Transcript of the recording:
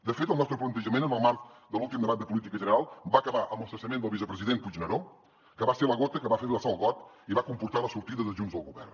de fet el nostre plantejament en el marc de l’últim debat de política general va acabar amb el cessament del vicepresident puigneró que va ser la gota que va fer vessar el got i va comportar la sortida de junts del govern